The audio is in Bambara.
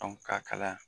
ka kalaya